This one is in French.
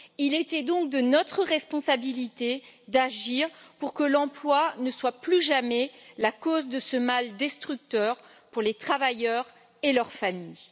Il était donc de notre responsabilité d'agir pour que l'emploi ne soit plus jamais la cause de ce mal destructeur pour les travailleurs et leurs familles.